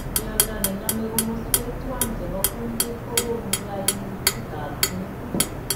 Miondo nename komoswek twan chebo kundit kogonu kaimutikab metit